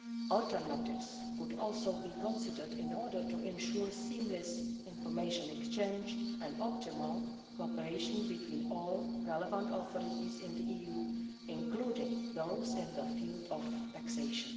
Alternatives could also be considered in order to ensure seamless information exchange and optimal cooperation between all relevant authorities in the EU, including those in the field of taxation.